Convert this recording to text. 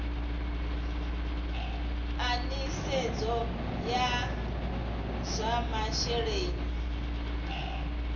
a nisedzo ya zwa masheleni